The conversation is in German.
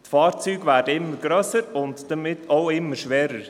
Die Fahrzeuge werden immer grösser und damit auch immer schwerer.